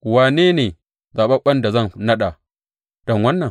Wane ne zaɓaɓɓen da zan naɗa don wannan?